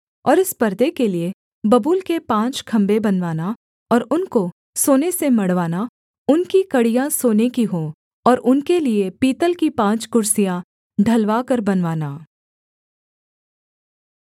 और इस पर्दे के लिये बबूल के पाँच खम्भे बनवाना और उनको सोने से मढ़वाना उनकी कड़ियाँ सोने की हों और उनके लिये पीतल की पाँच कुर्सियाँ ढलवा कर बनवाना